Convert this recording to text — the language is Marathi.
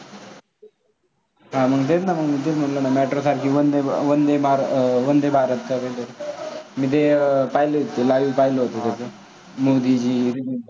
हां मग तेच ना ते म्हंटल metro सारखी वंदे भारत मी ते पाहिलं होतं live पाहिलं होतं मोदीजी तू जर